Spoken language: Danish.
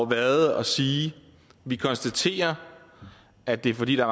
været at sige vi konstaterer at det er fordi der